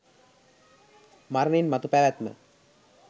මරණින් මතු පැවැත්ම